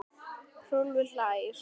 Hrólfur hlær.